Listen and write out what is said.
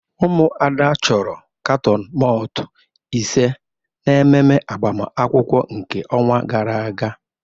Umuada choro katon malt ise n'ememe agbamakwụkwọ nke onwa gara aga